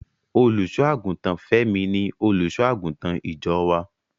Olùṣọ́-àgùntàn Fẹ́mi ni Olùṣọ́-àgùntàn ìjọ wá.